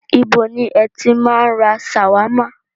Ibo ni ẹ ti máa ń ra ṣàwámà?